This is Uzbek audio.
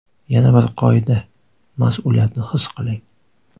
Yana bir qoida – mas’uliyatni his qiling.